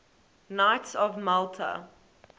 knights of malta